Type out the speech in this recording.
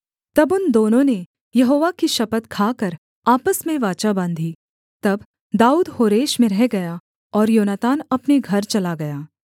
तब उन दोनों ने यहोवा की शपथ खाकर आपस में वाचा बाँधी तब दाऊद होरेश में रह गया और योनातान अपने घर चला गया